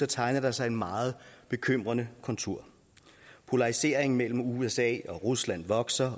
tegner der sig en meget bekymrende kontur polariseringen mellem usa og rusland vokser